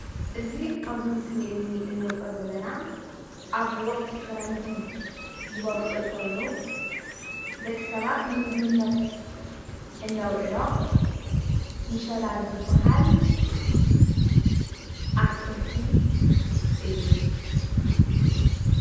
እዚ ኣብዚ ምስሊ እዙይ እንሪኦ ዘለና ኣብ ወቅቲ ኽረምቲ ዝበቁል ኾይኑ ደቂሰባት ንምግቢነት እነውዕሎ ምሸላ ዝባሃል ኣትኽልቲ እዩ።